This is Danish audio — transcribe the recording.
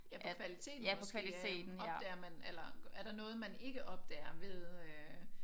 Ja på kvaliteten måske øh opdager man eller er der noget man ikke opdager ved øh